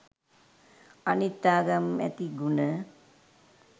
අනිත් ආගම් ඇති ගුණ